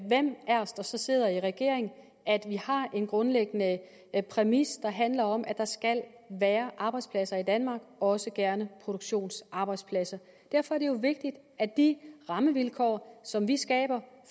os der så sidder i regering at vi har en grundlæggende præmis der handler om at der skal være arbejdspladser i danmark også gerne produktionsarbejdspladser derfor er det jo vigtigt at de rammevilkår som vi skaber